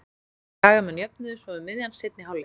Skagamenn jöfnuðu svo um miðjan seinni hálfleik.